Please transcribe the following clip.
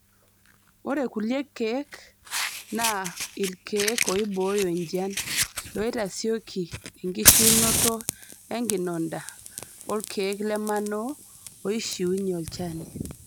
Ore kulie keek naa ilkeek oibooyo enjian, loitasioki enkishiunoto enkinonda, olkeek lemanoo oishiunye olchoni.